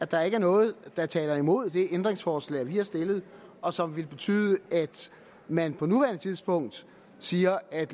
der er noget der taler imod det ændringsforslag vi har stillet og som vil betyde at man på nuværende tidspunkt siger at